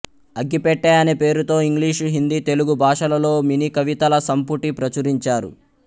అగ్గిపెట్టె అనే పేరుతో ఇంగ్లీషు హిందీ తెలుగు భాషలలో మినీకవితల సంపుటి ప్రచురించారు